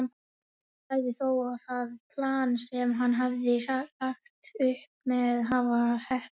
Hann sagði þó það plan sem hann hafði lagt upp með hafa heppnast.